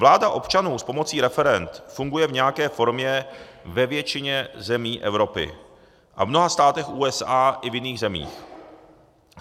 Vláda občanů s pomocí referend funguje v nějaké formě ve většině zemí Evropy a v mnoha státech USA i v jiných zemích.